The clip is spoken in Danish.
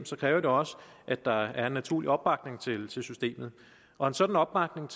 kræver det også at der er en naturlig opbakning til systemet og en sådan opbakning